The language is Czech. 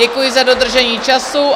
Děkuji za dodržení času.